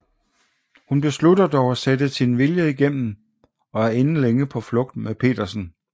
Hun beslutter dog at sætte sin vilje igennem og er inden længe på flugt med Petersen